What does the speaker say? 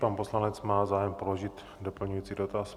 Pan poslanec má zájem položit doplňující dotaz.